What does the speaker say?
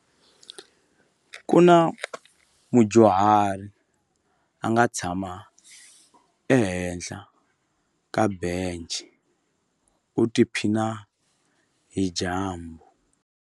Ku na mudyuhari a nga tshama ehenhla ka bence u tiphina hi dyambu.